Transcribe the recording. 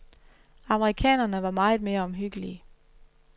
Amerikanerne var meget mere omhyggelige.